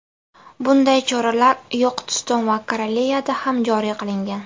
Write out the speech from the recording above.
Bunday choralar Yoqutiston va Kareliyada ham joriy qilingan.